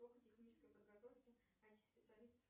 технической подготовки ай ти специалистов